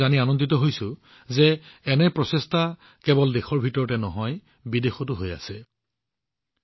বন্ধুসকল মই সুখী যে কেৱল দেশতে নহয় বিদেশতো এনে প্ৰচেষ্টা কৰা হৈছে